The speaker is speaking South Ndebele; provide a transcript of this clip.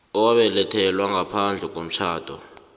owabelethelwa ngaphandle komtjhado